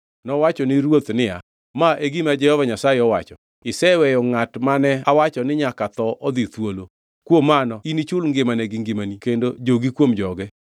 Nowacho ni ruoth niya, “Ma e gima Jehova Nyasaye owacho: ‘Iseweyo ngʼat mane awacho ni nyaka tho odhi thuolo. Kuom mano inichul ngimane gi ngimani kendo jogi kuom joge.’ ”